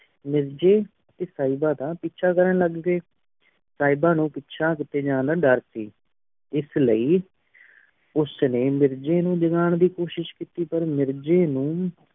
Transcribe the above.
ਮੇਰ੍ਜ਼ਾ ਡੀ ਸੇਬਾ ਦਾ ਪਿਛਾ ਕਰਨ ਲਗ ਪੀ ਸਰਬਾ ਨੂ ਪੇਚਾ ਕੇਤੀ ਜਾਂਦਾ ਦੇਰ ਸੀ ਇਸ ਲੈ ਉਸ ਨੀ ਮੇਰ੍ਜ਼ਾ ਜਗਹਾਂ ਦੀ ਕੋਸ਼ੇਸ਼ ਕੀਤੀ ਪਰ ਮਿਰ੍ਜ੍ਯ ਨੂ